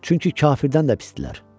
Çünki kafirdən də pisdirlər.